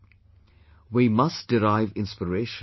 Amurtha Valli of Puducherry had a similar experience